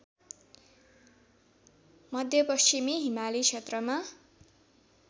मध्यपश्चिमी हिमाली क्षेत्रमा